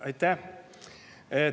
Aitäh!